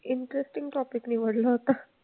Interesting topic निवडला होता.